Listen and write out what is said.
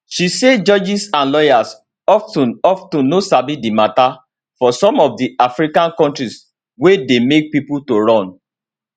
she say judges and lawyers of ten of ten no sabi di mata for some of di african kontris wey dey make pipo to run